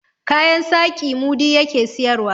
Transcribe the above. kayan saƙi mudi ya ke siyarwa